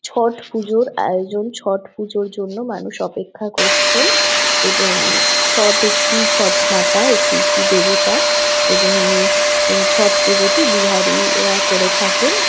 ছট পুজোর আয়োজন ছট পুজোর জন্য মানুষ অপেক্ষা করছেন এবং ছট একটি ছট মাতা এটি একটি দেবতা এবং ই এই ছট পুজোটি বিহারী রা করে থাকেন।